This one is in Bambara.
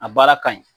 A baara ka ɲi